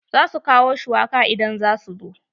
Za su kawo shuwaka idan za su zo.